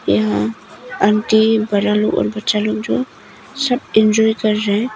यहां आंटी बड़ा लोग बच्चा लोग जो सब एंजॉय कर रहे हैं।